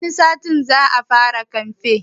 Wani satin za a fara kamfen